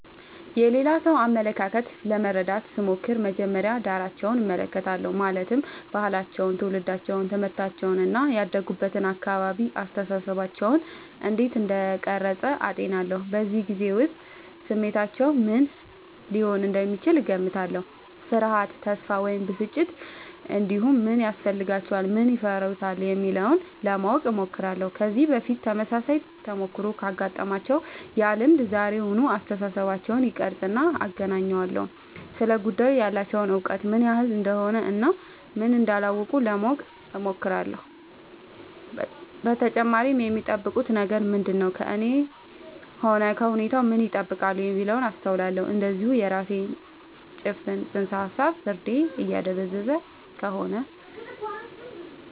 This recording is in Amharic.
የሌላ ሰው አመለካከት ለመረዳት ስሞክር መጀመሪያ ዳራቸውን እመለከታለሁ ማለትም ባህላቸው ትውልዳቸው ትምህርታቸው እና ያደጉበት አካባቢ አስተሳሰባቸውን እንዴት እንደቀረጸ አጤናለሁ በዚያ ጊዜ ውስጥ ስሜታቸው ምን ሊሆን እንደሚችል እገምታለሁ ፍርሃት ተስፋ ወይም ብስጭት እንዲሁም ምን ያስፈልጋቸዋል ምን ይፈሩታል የሚለውን ለማወቅ እሞክራለሁ ከዚህ በፊት ተመሳሳይ ተሞክሮ ካጋጠማቸው ያ ልምድ ዛሬውን አስተሳሰባቸውን ይቀርፃልና አገናኘዋለሁ ስለ ጉዳዩ ያላቸው እውቀት ምን ያህል እንደሆነ እና ምን እንዳላወቁ ለማወቅ እሞክራለሁ በተጨማሪም የሚጠብቁት ነገር ምንድነው ከእኔም ሆነ ከሁኔታው ምን ይጠብቃሉ የሚለውን አስተውላለሁ እንዲሁም የራሴ ጭፍን ጽንሰ ሀሳብ ፍርዴን እያደበዘዘ ከሆነ